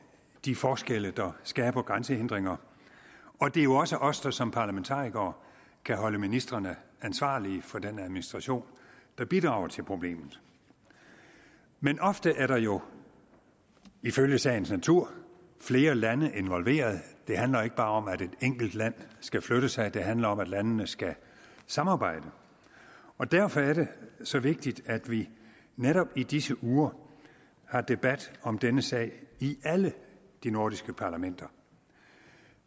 de forskelle der skaber grænsehindringer og det er jo også os der som parlamentarikere kan holde ministrene ansvarlige for den administration der bidrager til problemet men ofte er der jo ifølge sagens natur flere lande involveret det handler ikke bare om at et enkelt land skal flytte sig det handler om at landene skal samarbejde og derfor er det så vigtigt at vi netop i disse uger har debat om denne sag i alle de nordiske parlamenter